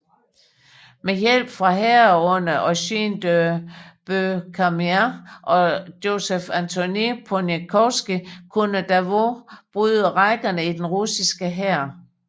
Med hjælp fra hære under Eugène de Beauharnais og Józef Antoni Poniatowski kunne Davout bryde rækkerne i den russiske hær